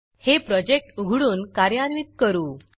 हे प्रोजेक्ट उघडून कार्यान्वित करू